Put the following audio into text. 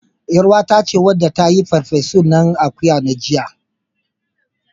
ƳarUwata ce wadda ta yi farfesun nanan akuyan nan jiya.